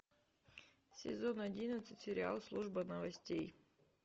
сезон одиннадцать сериал служба новостей